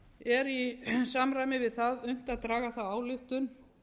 er í samræmi við það unnt að draga þá ályktun